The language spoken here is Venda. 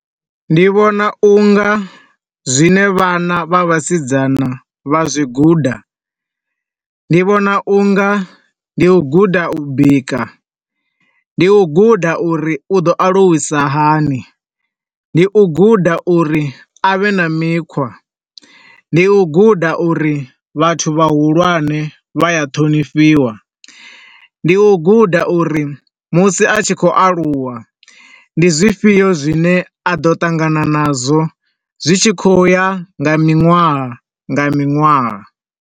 Ndi vhona u nga zwine vhana vha vhasidzana vha zwi guda. Ndi vhona u nga ndi u guda u bika. Ndi u guda u ri u ḓo aluwisa hani. Ndi u guda uri a vhe na mikhwa. Ndi u guda uri vhathu vha hulwane vha a ṱhonifhiwa. Ndi u guda uri musi a tshi khou aluwa, ndi zwi fhio zwine a ḓo ṱangana nazwo zwi tshi khou u ya nga miṅwaha nga miṅwaha.